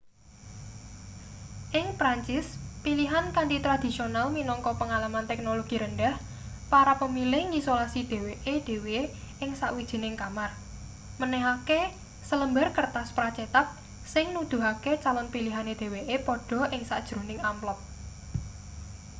ing perancis pilihan kanthi tradhisional minangka pengalaman teknologi rendhah para pemilih ngisolasi dheweke dhewe ing sawijining kamar menehake selembar kertas pra-cetak sing nuduhake calon pilihane dheweke padha ing sajroning amplop